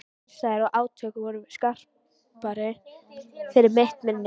Andstæður og átök voru skarpari fyrir mitt minni.